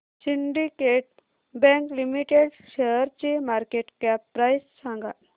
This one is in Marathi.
सिंडीकेट बँक लिमिटेड शेअरची मार्केट कॅप प्राइस सांगा